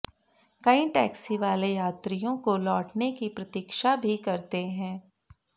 कई टैक्सी वाले यात्रियों को लौटने की प्रतिक्षा भी करते हैं